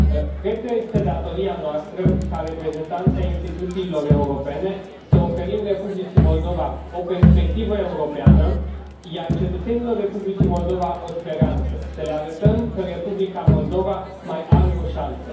Cred că este datoria noastră, ca reprezentanți ai instituțiilor europene, să oferim Republicii Moldova o perspectivă europeană, iar cetățenilor Republicii Moldova o speranță, să le arătăm că Republica Moldova mai are o șansă.